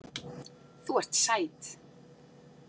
Þú ert sæt.